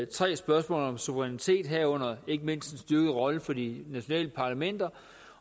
3 spørgsmålet om suverænitet herunder ikke mindst en styrket rolle for de nationale parlamenter